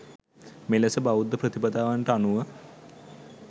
මෙලෙස බෞද්ධ ප්‍රතිපදාවන්ට අනුව